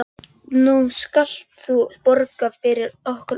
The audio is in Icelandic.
Nú skalt þú borga fyrir okkur öll.